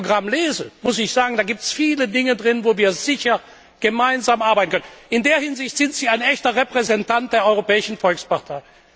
Und wenn ich Ihr Programm lese, da muss ich sagen, gibt es viele Dinge darin, wo wir sicherlich gemeinsam arbeiten können. In der Hinsicht sind Sie ein echter Repräsentant der Europäischen Volkspartei.